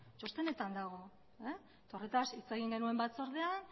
txostenetan dago eta horretaz hitz egin genuen batzordean